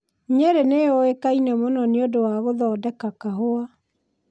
Nyerĩ nĩ yũĩkaine mũno nĩ ũndũ wa gũthondeka kahũa.